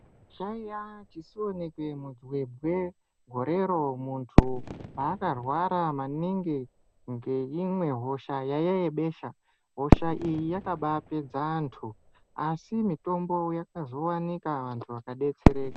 Chaiya chisionekwe midzi yembwe gorero muntu paakarwara maningi ngeimwe hosha yaiya yebesha , hosha iyi yakaba pedza antu asi mitombo yakazowanikwa antu akadetsereka.